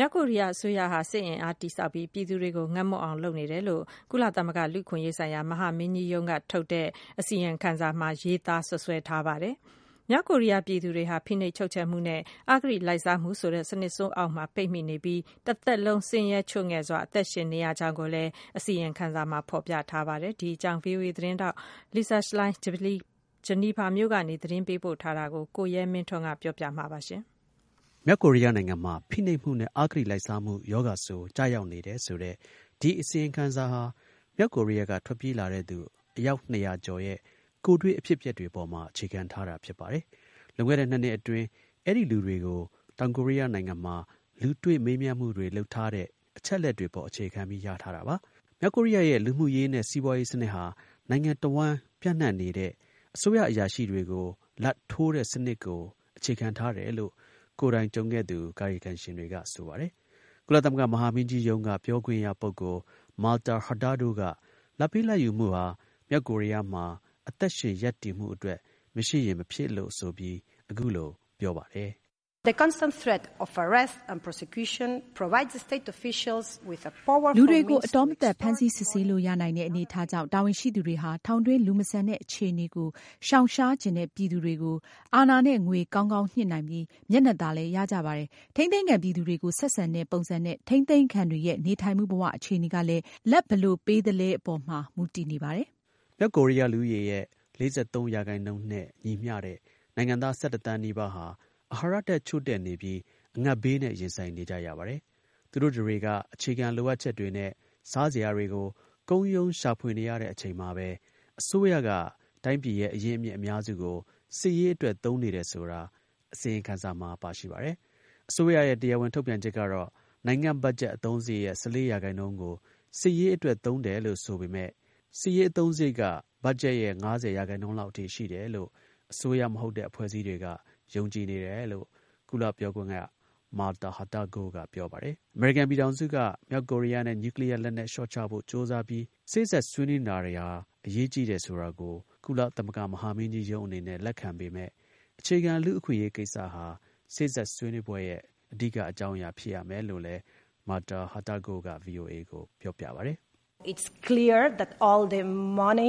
မြောက်ကိုရီးယား အစိုးရဟာ စစ်ရေး အင်အားကို တည်ဆောက်ပြီး ပြည်သူတွေကို ငတ်မွတ်အောင်လုပ်နေပါတယ်လို့ ကုလသမဂ္ဂ လူ့အခွင့်အရေးဆိုင်ရာ မဟာမင်းကြီးရုံးက အစီရင်ခံစာတစ်စောင်က စွပ်စွဲလိုက်ပါတယ်။ မြောက်ကိုရီးယား ပြည်သူတွေဟာ ဖိနှိပ်ချုပ်ချယ်မှုနဲ့ အဂတိလိုက်စားမှုဆိုတဲ့ စနစ်ဆိုးအောက်မှာ ပိတ်မိနေလို့ တစ်သက်လုံး ဆင်းရဲချို့ငဲ့ စွာ အသက်ရှင်နေရကြောင်းလည်း အစီရင်ခံစာမှာ ဖော်ပြထားပါတယ်။ ဗွီအိုအေ သတင်းထောက် Lisa Schlein က Geneva မြို့က သတင်းပေးပို့ထား တာကို ကိုရဲမင်းထွန်းက တင်ပြပေးပါမယ်။ မြောက်ကိုရီးယားနိုင်ငံမှာ ဖိနှိပ်မှုနဲ့ အဂတိလိုက်စားမှု ရောဂါဆိုး ကျရောက်နေတယ်ဆိုတဲ့ ဒီ အစီရင်ခံစာဟာ မြောက်ကိုရီးယားက ထွက်ပြေးလာတဲ့သူ အယောက်၂၀၀ ကျော်ရဲ့ ကိုယ်တွေ့ အဖြစ်အပျက်တွေပေါ်မှာ အခြေခံထားတာဖြစ်ပါတယ်။ လွန်ခဲ့တဲ့ ၂ နှစ်အတွင်း အဲဒီလူတွေကို တောင်ကိုရီးယားနိုင်ငံမှာ လူတွေ့ မေးမြန်းမှုလုပ်ထားတဲ့အချက်တွေ အပေါ်က ရတာပါ။ မြောက်ကိုရီးယားရဲ့ လူမှုရေးနဲ့ စီးပွားရေး စနစ်ဟာ နိုင်ငံတဝှမ်း ပြန်နှံ့နေတဲ့ အစိုးရ အရာရှိတွေကို လာဘ်ထိုးတဲ့စနစ်ကို အခြေခံထားတယ်လို့ ကိုယ်တိုင် ကြုံခဲ့သူ ကာယကံရှင်တွေကက ဆိုပါတယ်။ ကုလသမဂ္ဂ မဟာမင်းကြီးရုံးက ပြောခွင့်ရ ပုဂ္ဂိုလ် Marta Hurtago က လာဘ်ပေးလာဘ်ယူမှုဟာ မြောက်ကိုရီးယားမှာ အသက်ရှင် ရပ်တည်မှုအတွက် မရှိရင်မဖြစ် လို့ ဆိုပြီး အခုလို ပြောပါတယ်။ “လူတွေကို အတောမသတ် ဖမ်းဆီး စစ်ဆေးလို့ရနိုင်တဲ့ အနေအထားကြောင့် တာဝန်ရှိသူတွေဟာ ထောင်တွင်း လူမဆန်တဲ့ အခြေအနေကို ရှောင်ရှားချင်တဲ့ ပြည်သူတွေကို အာဏာနဲ့ ငွေ ကောင်းကောင်း ညှစ်နိုင်ပြီး မျက်နှာသာလည်းရကြပါတယ်။ ထိန်းသိမ်းခံပြည်သူတွေကို ဆက်ဆံတဲ့ ပုံစံနဲ့ ထိန်းသိမ်းခံတွေရဲ့ နေထိုင်မှု ဘဝအခြေအနေကလည်း လာဘ် ဘယ်လို ပေးသလဲ အပေါ်မှာ မူတည်နေပါတယ်။” မြောက်ကိုရီးယား လူဦးရေရဲ့ ၄၃ ရာခိုင်နှုန်းနဲ့ ညီမျှတဲ့ နိုင်ငံသား ၁၁ သန်းနီးပါးဟာ အာဟာရဓါတ်ချို့တဲ့နေပြီး အငတ်ဘေးနဲ့ ရင်ဆိုင်နေကြရပါတယ်။ သူတို့တွေက အခြေခံ လိုအပ်ချက်တွေနဲ့ စားစရာတွေကို ကုန်းရုန်း ရှာဖွေနေရတဲ့အချိန်မှာပဲ အစိုးရက တိုင်းပြည်ရဲ့ အရင်းအမြစ် အများစုကို စစ်ရေးအတွက် သုံးနေတယ်ဆိုတာ အစီရင်ခံစာမှာ ပါရှိပါတယ်။ အစိုးရရဲ့ တရားဝင် ထုတ်ပြန်ချက်ကတော့ နိုင်ငံ့ ဘတ်ဂျက်အသုံးစရိတ်ရဲ့၁၄ ရာခိုင်နှုန်းကို စစ်ရေးအတွက် သုံးတယ်လို့ ဆိုပေမဲ့ စစ်ရေးအသုံးစရိတ်က ဘတ်ဂျက်ရဲ့ ၅၀ ရာခိုင်နှုန်းလောက်အထိ ရှိတယ်လို့ အစိုးရ မဟုတ်တဲ့ အဖွဲ့အစည်း တွေကတော့ ယုံကြည်နေတယ်လို့ ကုလ ပြောခွင့်ရ Marta Hurtago က ပြောပါတယ်။ အမေရိကန်ပြည်ထောင်စုက မြောက်ကိုရီးယားနဲ့ နျူးကလီးယား လက်နက် လျှော့ချဖို့ ကြိုးစားပြီး စေ့စပ် ဆွေးနွေးနေတာ တွေဟာ အရေးကြီးတယ်ဆိုတာကို ကုလ မဟာမင်းကြီး ရုံးအနေနဲ့ လက်ခံပေမဲ့ အခြေခံ လူ့အခွင့်အရေးကိစ္စဟာ စေ့စပ် ဆွေးနွေးပွဲရဲ့ အဓိက အကြောင်းအရာ ဖြစ်ရမယ် လို့လည်း Marta Hurtago က VOA ကို ပြောပါတယ်။ “ဒီ နျူးကလီးယားကိစ္စရပ်တွေန